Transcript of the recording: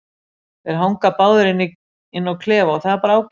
Þeir hanga báðir inni á klefa og það er bara ágætt.